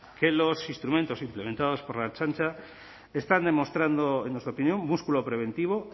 que los instrumentos implementados por la ertzaintza están demostrando en nuestra opinión músculo preventivo